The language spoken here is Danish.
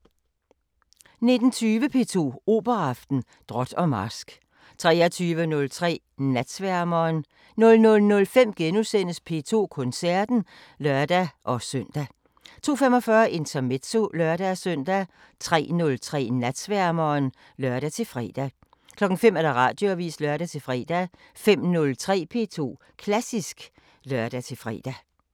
19:20: P2 Operaaften: Drot og Marsk 23:03: Natsværmeren 00:05: P2 Koncerten *(lør-søn) 02:45: Intermezzo (lør-søn) 03:03: Natsværmeren (lør-fre) 05:00: Radioavisen (lør-fre) 05:03: P2 Klassisk (lør-fre)